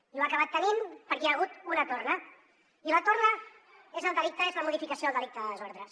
i ho ha acabat tenint perquè hi ha hagut una torna i la torna és el delicte és la modificació del delicte de desordres